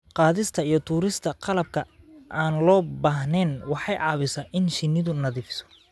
Qaadista iyo tuurista qalabka aan loo baahnayn waxay caawisaa in shinnidu nadiifiso.